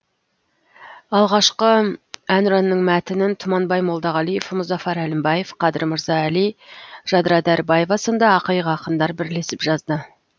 алғашқы әнұранның мәтінін тұманбай молдағалиев мұзафар әлімбаев қадыр мырза әли жадыра дәрібаева сынды ақиық ақындар бірлесіп жазды